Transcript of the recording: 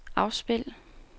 afspil